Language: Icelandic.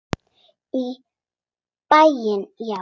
Í bæinn, já!